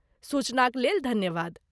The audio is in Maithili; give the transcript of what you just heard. सूचनाक लेल धन्यवाद।